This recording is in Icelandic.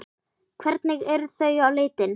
Hvernig eru þau á litinn?